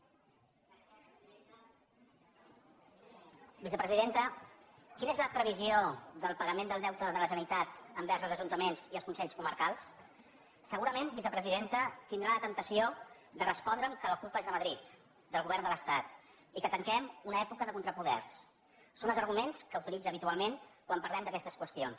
vicepresidenta quina és la previ·sió del pagament del deute de la generalitat envers els ajuntaments i els consells comarcals segurament vicepresidenta tindrà la temptació de respondre’m que la culpa és de madrid del govern de l’estat i que tanquem una època de contrapoders són els arguments que utilitza habitualment quan par·lem d’aquestes qüestions